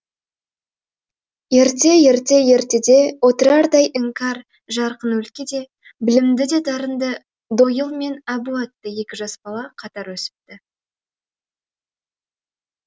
ерте ерте ертеде отырардай іңкәр жарқын өлкеде білімді де дарынды дойыл мен әбу атты екі жас бала қатар өсіпті